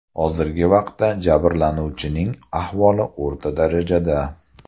Hozirgi vaqtda jabirlanuvchining ahvoli o‘rta darajada.